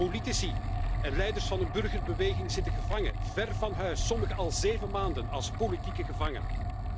Politici en leiders van de burgerbeweging zitten gevangen, ver van huis, sommigen al zeven maanden, als politieke gevangenen.